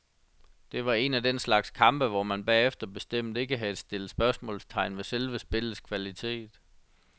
Det var en af den slags kampe, hvor man bagefter bestemt ikke havde stillet spørgsmålstegn ved selve spillets kvalitet.